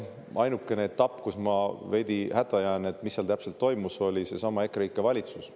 Ainukene etapp, mille puhul ma jään veidi hätta selle, mis seal täpselt toimus, on seesama EKREIKE valitsuse.